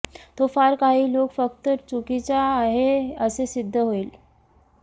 तो फार काही लोक फक्त चुकीचा आहे असे सिद्ध होईल